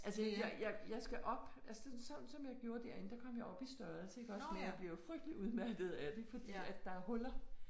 Altså jeg jeg jeg skal op altså sådan som jeg gjorde derinde der kom jeg op i størrelse iggås men jeg bliver jo frygtelig udmattet af det fordi at der huller